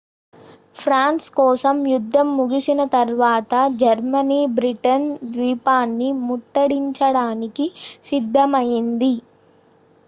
France కోసం యుద్ధం ముగిసిన తరువాత జర్మనీ బ్రిటన్ ద్వీపాన్ని ముట్టడించడానికి సిద్ధమయ్యింది